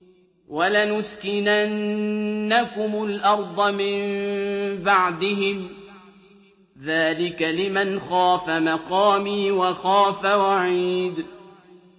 وَلَنُسْكِنَنَّكُمُ الْأَرْضَ مِن بَعْدِهِمْ ۚ ذَٰلِكَ لِمَنْ خَافَ مَقَامِي وَخَافَ وَعِيدِ